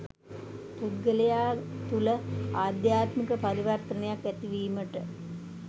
පුද්ගලයා තුළ ආධ්‍යාත්මික පරිවර්තනයක් ඇතිවීමට